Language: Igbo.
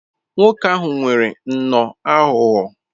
Nwoke ahụ nwere nnọọ aghụghọ.